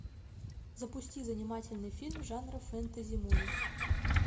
запусти занимательный фильм жанра фэнтези муви